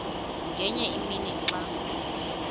ngenye imini xa